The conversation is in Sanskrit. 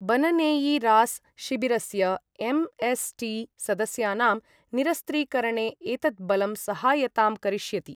बननेइरास् शिबिरस्य एमएसटी सदस्यानां निरस्त्रीकरणे एतत् बलं सहायतां करिष्यति।